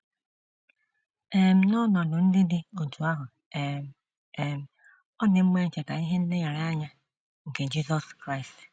um N’ọnọdụ ndị dị otú ahụ um, um ọ dị mma icheta ihe nlereanya nke Jisọs Kraịst.